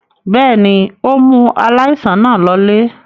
Bẹ́ẹ̀ ni, ó mú aláìsàn náà lọlé.